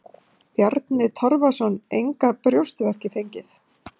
Bjarni Torfason: Engar brjóstverki fengið?